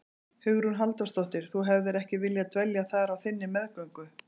Hugrún Halldórsdóttir: Þú hefðir ekki viljað dvelja þar á þinni meðgöngu?